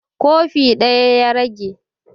Kofi ɗaya ya rage